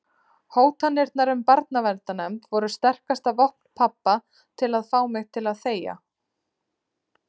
Hótanirnar um barnaverndarnefnd voru sterkasta vopn pabba til að fá mig til að þegja.